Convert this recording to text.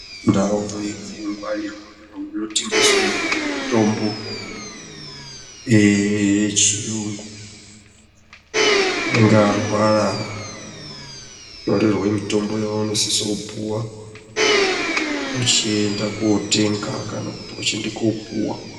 Ndau inongwarirwe kana kunotengeswe mitombo yechiyungu unonga arwara unotorerwe mitombo yaunosise kupuwa uchienda kotenga kana kuti uchiende koopuwa.